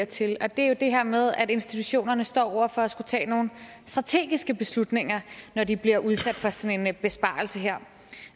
til og det er jo det her med at institutionerne står over for at skulle tage nogle strategiske beslutninger når de bliver udsat for sådan en besparelse her